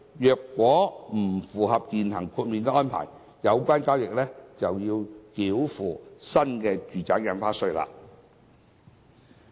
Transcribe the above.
如果不符合現行豁免安排，有關交易就要繳付新住宅印花稅。